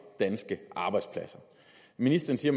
danske arbejdspladser ministeren siger